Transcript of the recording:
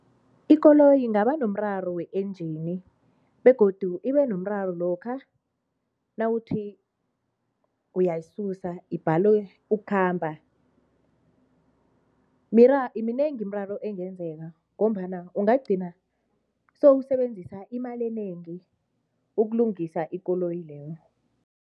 Ikoloyi ingaba nomraro we-engine begodu ibenomraro lokha nawuthi uyayisusa ibhale ukukhamba. Minengi imiraro engenzeka ngombana ungagcina sowusebenzisa imali enengi ukulungisa ikoloyi leyo.